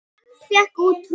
Hann fékk út tromp.